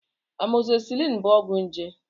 Amọgzisiliin bụ ọgwụ njé.